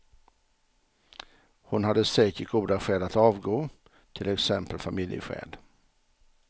Hon hade säkert goda skäl att avgå, till exempel familjeskäl.